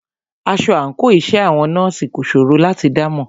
Aṣọ àńkò iṣẹ́ àwọn nọ́ọ̀sì kò ṣòro láti dámọ̀.